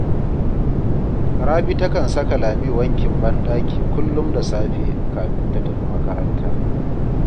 Rabi takan saka Lami wankin banɗaki kullum da safe kafin ta tafi makaranta